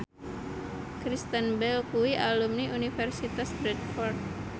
Kristen Bell kuwi alumni Universitas Bradford